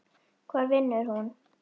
Hvar vinnur hún?